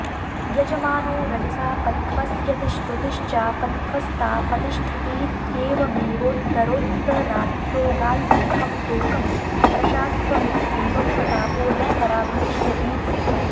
यजमानो रजसापध्वस्यति श्रुतिश्चापध्वस्तापतिष्ठतीत्येवमेवोत्तरोत्तराद्योगाल्लोकं तोकं प्रशाध्वमित्येवं प्रतापो न पराभविष्यतीति